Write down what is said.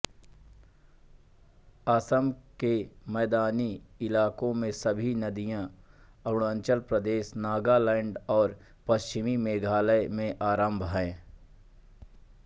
असम के मैदानी इलाकों में सभी नदियों अरुणाचल प्रदेश नागालैंड और पश्चिमी मेघालय में आरंभ